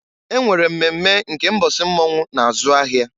E nwere mmemme nke mbọsị mmọnwụ na-azụ ahịa.